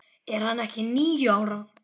Er hann ekki níu ára?